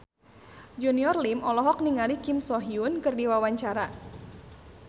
Junior Liem olohok ningali Kim So Hyun keur diwawancara